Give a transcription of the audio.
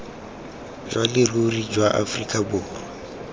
jwa leruri jwa aforika borwa